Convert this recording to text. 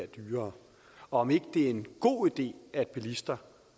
dyrere og om ikke det er en god idé at bilister